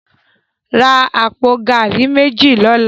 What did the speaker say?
Rá àpó gàrí méji lòlá